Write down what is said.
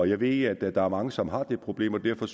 jeg ved at der er mange som har det problem og derfor